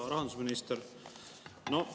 Hea rahandusminister!